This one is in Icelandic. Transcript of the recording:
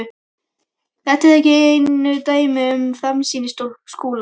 Þetta eru ekki einu dæmin um framsýni Skúla.